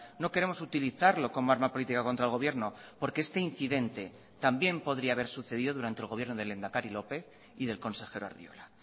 no queremos utilizarlo como arma política contra el gobierno porque este incidente también podría haber sucedido durante el gobierno del lehendakari lópez y del consejero arriola